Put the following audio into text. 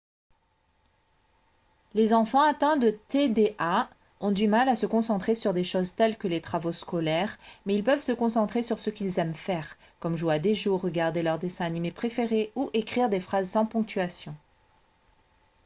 les enfants atteints de tda ont du mal à se concentrer sur des choses telles que les travaux scolaires mais ils peuvent se concentrer sur ce qu'ils aiment faire comme jouer à des jeux ou regarder leurs dessins animés préférés ou écrire des phrases sans ponctuation